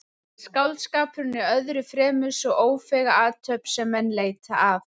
Skáldskapurinn er öðru fremur sú ófeiga athöfn sem menn leita að.